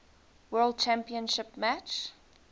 world championship match